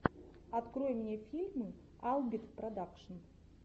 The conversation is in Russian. открой мне фильмы албит продакшн